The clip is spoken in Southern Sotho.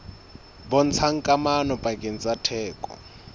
bontshang kamano pakeng tsa theko